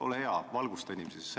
Ole hea, valgusta inimesi!